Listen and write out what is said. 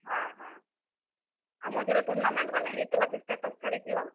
ହଁ ହଁ, ଆଉ ମଝିରେ tournament ମାନେ ହେଇଥିଲା ଯେ status ଛାଡିଥିଲ।